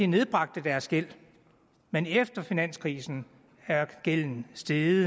nedbragte deres gæld men efter finanskrisen er gælden steget